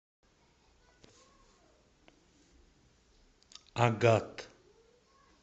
агат